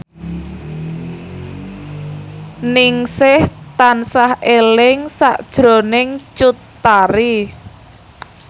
Ningsih tansah eling sakjroning Cut Tari